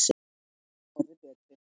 Ég held að við getum orðið betri.